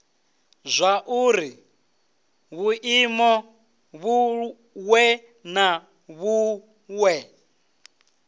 zwauri vhuimo vhuṅwe na vhuṅwe